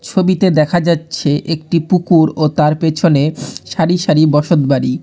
ছবিতে দেখা যাচ্ছে একটি পুকুর ও তার পেছনে সারি সারি বসতবাড়ি।